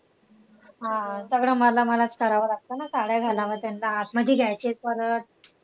हा, सगळं मला मलाच करावं लागतं ना साड्या घालाव्या त्यांना आतमध्ये घ्यायचे परत.